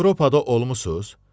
Avropada olmusuz?